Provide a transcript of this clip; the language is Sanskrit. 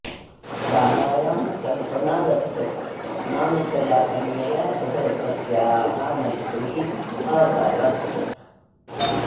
शालायां कल्पना दत्त नामिकया कन्यया सह तस्याः मैत्रिः अभवत्